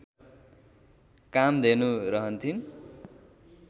Kamdhenu रहन्थिन्